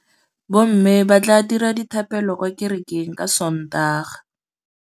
Bommê ba tla dira dithapêlô kwa kerekeng ka Sontaga.